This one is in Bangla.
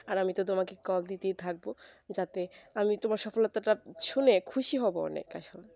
আর আমি তো তোমাকে call দিতেই থাকবো যাতে আমি তোমার সফলতাটা শুনে খুশি হব অনেক আসলে